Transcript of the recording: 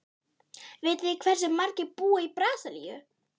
Vitið þið hversu margir búa í Brasilíu?